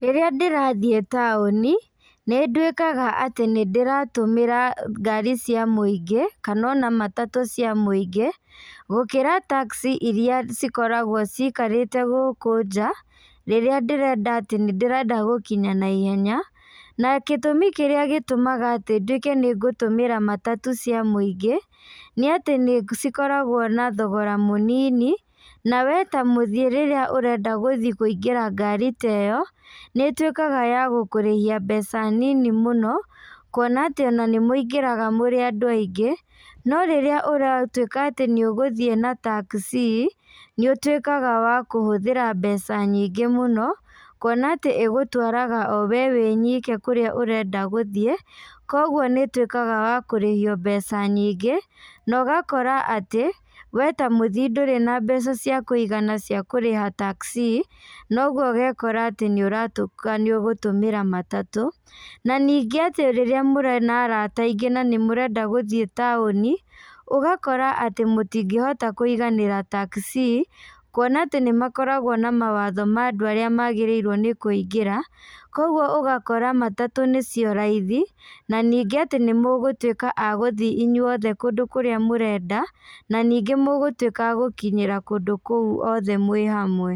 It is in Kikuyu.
Rĩrĩa ndĩrathiĩ taũni, nĩndũĩkaga atĩ nĩndĩratũmĩra ngari cia mũingĩ, kana ona matatũ cia mũingĩ, gũkĩra taxi iria cikoragwo cikarĩte gũkũ nja, rĩrĩa ndĩrenda atĩ nĩndĩrenda gũkinya na ihenya, na gĩtũmi kĩrĩa gĩtũmaga atĩ nduĩke ningũtũmĩra matatũ cia mũingĩ, nĩatĩ nĩcikoragwo na thogora mũnini, na we ta mũthii rĩrĩa ũrenda gũthiĩ kũingĩra ngari ta ĩyo, nĩtuĩkaga ya gũkũrĩhia mbeca nini mũno, kuona atĩ ona nĩmũingĩraga mũrĩ andũ aingĩ, no rĩrĩa ũratuĩka atĩ nĩũgũthiĩ na taxi, nĩũtuĩkaga wa kũhũthĩra mbeca nyingĩ mũno, kuona atĩ ĩgũtwaraga o we wĩ nyike kũrĩa ũrenda gũthiĩ, koguo nĩtuĩkaga wa kũrĩhio mbeca nyingĩ, na ũgakora atĩ, we ta mũthii ndũrĩ na mbeca cia kũigana cia kũrĩha taxi na ũguo ũgekora atĩ nĩũratuĩka nĩũgũtũmĩra matatũ, na ningĩ atĩ rĩrĩa mũrĩ na arata aingĩ na nĩmũrenda gũthiĩ taũni, ũgakora atĩ mũtingĩhota kũiganĩra taxi, kuona atĩ nĩmakoragwo na mawatho ma andũ arĩa magĩrĩirwo nĩ kũingĩra, koguo ũgakora matatũ nĩcio raithi, na ningĩ atĩ nĩmũgũtuĩka a gũthi inyuothe kũndũ kũrĩa mũrenda, na ningĩ mũgũtuĩka a gũkinyĩra kũndũ kũu othe mwĩ hamwe.